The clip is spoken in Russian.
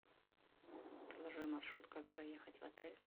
проложи маршрут как проехать в отель